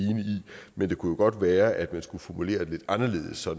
men det kunne jo godt være at man skulle formulere det lidt anderledes så